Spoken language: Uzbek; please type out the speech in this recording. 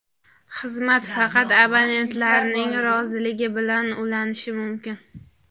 Xizmat faqat abonentlarning roziligi bilan ulanishi mumkin.